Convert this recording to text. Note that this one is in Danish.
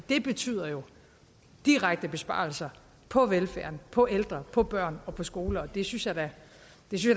det betyder jo direkte besparelser på velfærden på ældre på børn på skoler og det synes jeg da